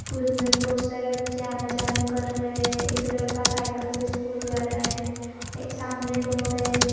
School में बहुत सारे बच्चे आना-जाना कर रहे एक लड़का साइकल से स्कूल जा रहा है ए सामने रोड है।